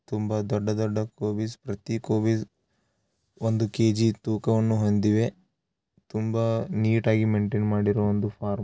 ತುಂಬಾ ದೊಡ್ಡ ದೊಡ್ಡ ಕೋವಿಸ್ ಪ್ರತಿ ಕೋವಿಸ್‌ ಒಂದು ಕೆ_ಜಿ ತೂಕವನ್ನು ಹೊಂದಿವೆ. ತುಂಬಾ ನೀಟಾಗಿ ಮೇನ್‌ಟೇಯಿನ್‌ ಮಾಡಿರುವಂತ ಫಾರ್ಮ್ .